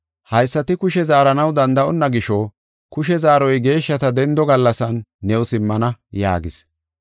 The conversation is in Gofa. Haysati kushe zaaranaw danda7onna gisho kushe zaaroy geeshshata dendo gallasan new simmana” yaagis.